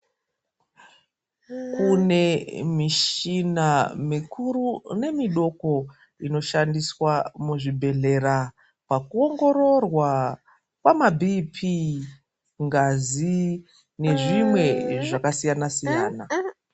Kune mishina mikuru nemidoko inoshandiswa muzvibhedhlera pakuongororwa kwamaBp, ngazi nezvimwe zvakasiyana-siyana.